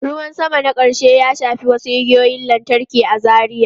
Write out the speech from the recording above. Ruwan sama na ƙarshe ya shafi wasu igiyoyin lantarki a Zaria.